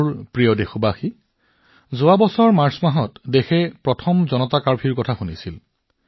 মোৰ মৰমৰ দেশবাসীসকল যোৱা বছৰ মাৰ্চ মাহত দেশবাসীয়ে প্ৰথমবাৰৰ বাবে জনতা কাৰ্ফিউ শব্দটো শুনিছিল